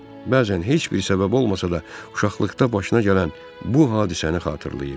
Bəzən heç bir səbəb olmasa da, uşaqlıqda başına gələn bu hadisəni xatırlayır.